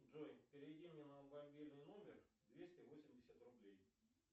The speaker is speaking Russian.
джой переведи мне на мобильный номер двести восемьдесят рублей